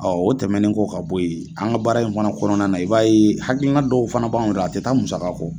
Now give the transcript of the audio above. o tɛmɛnen ko ka bɔ yen, an ka baara in fana kɔnɔna na i b'a ye hakili na dɔw fana b'anw yɔrɔ a tɛ taa musaka kɔ.